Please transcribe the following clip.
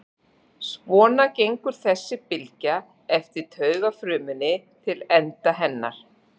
Svona gengur þessi bylgja eftir taugafrumunni til enda hennar.